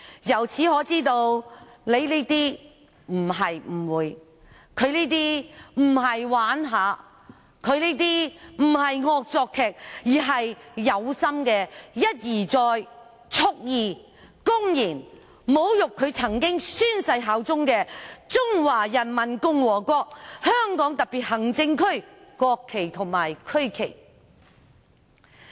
由此可知，我們並沒有誤會他的行為，他的行為並非玩鬧、惡作劇，而是故意一而再蓄意、公然侮辱他曾經宣誓效忠的中華人民共和國香港特別行政區的國旗和區旗。